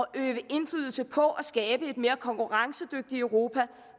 øve indflydelse på at skabe et mere konkurrencedygtigt europa